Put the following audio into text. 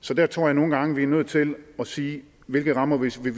så der tror jeg nogle gange vi er nødt til at sige hvilke rammer vi så vil